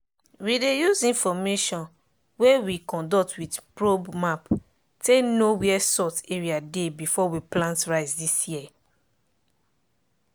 we dey use information wey we conduct with probe map take know where salt area dey before we plant rice dis year.